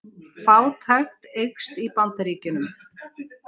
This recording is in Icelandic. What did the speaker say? Fátækt eykst í Bandaríkjunum